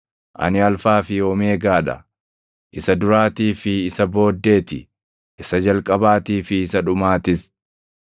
Ani Alfaa fi Omeegaa dha; isa Duraatii fi isa Booddee ti; isa Jalqabaatii fi isa Dhumaatis.